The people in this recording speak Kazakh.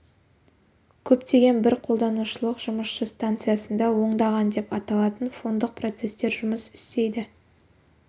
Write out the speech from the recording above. көптеген бір қолданушылық жұмысшы станциясында оңдаған деп аталатын фондық процестер жұмыс істейді